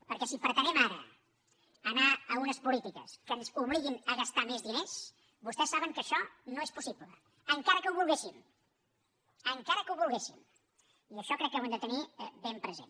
perquè si pretenem ara anar a unes polítiques que ens obliguin a gastar més diners vostès saben que això no és possible encara que ho volguéssim encara que ho volguéssim i això crec que ho hem de tenir ben present